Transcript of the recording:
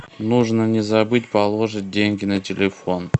нужно не забыть положить деньги на телефон